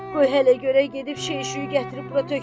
Qoy hələ görək, gedib şey-şüy gətirib bura tökmə.